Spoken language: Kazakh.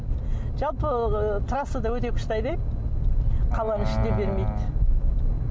жалпы ыыы трассада өте күшті айдаймын қаланың ішінде бермейді